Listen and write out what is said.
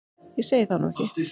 Ég segi það nú ekki.